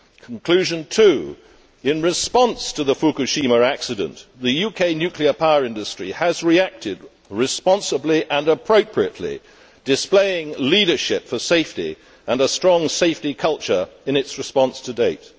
Conclusion two reads in response to the Fukushima accident, the UK nuclear power industry has reacted responsibly and appropriately, displaying leadership for safety and a strong safety culture in its response to date'.